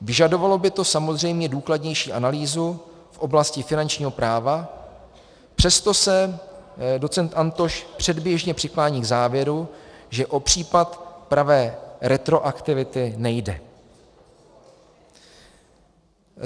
Vyžadovalo by to samozřejmě důkladnější analýzu v oblasti finančního práva, přesto se docent Antoš předběžně přiklání k závěru, že o případ pravé retroaktivity nejde.